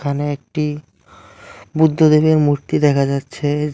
এখানে একটি বুদ্ধদেবের মূর্তি দেখা যাচ্ছে।